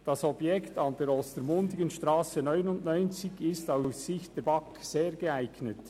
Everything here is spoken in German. Das Objekt an der Ostermundigenstrasse 99 ist aus Sicht der BaK sehr geeignet.